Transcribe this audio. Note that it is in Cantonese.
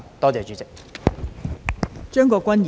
多謝代理主席。